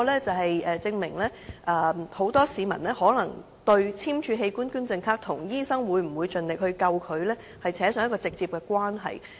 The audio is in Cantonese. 這證明很多市民對簽署器官捐贈卡，跟醫生會否盡力搶救他，扯上直接關係。